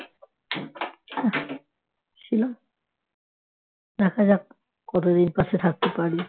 ছিলাম দেখা যাক কতদিন পাশে থাকতে পারি